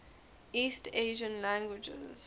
east asian languages